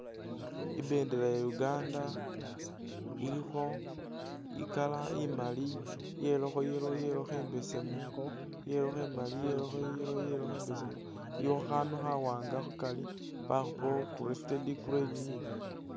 Imbendela ya' Uganda ilikho i'colour imaali yelakho yellow yelakho imbesemu, yelakho imaali yelakho yellow yelakho imbesemu iliwo khandu khawanga khukari bakhupakho crested crane